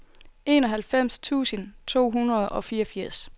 enoghalvfems tusind to hundrede og fireogfirs